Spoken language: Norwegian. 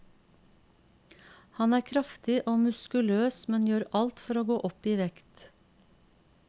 Han er kraftig og muskuløs, men gjør alt for å gå opp i vekt.